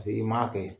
Paseke i m'a kɛ